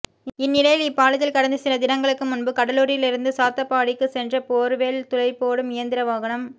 இந்நிலையில் இப்பாலத்தில் கடந்த சில தினங்களுக்கு முன்பு கடலூரிலிருந்து சாத்தப்பாடிக்கு சென்ற போர்வெல் துளைபோடும் இயந்திர வாகனம்